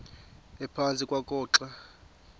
ephantsi kwakho xa